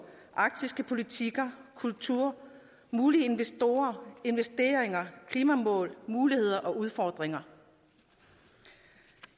arktiske politikker kultur mulige investorer investeringer klimamål muligheder og udfordringer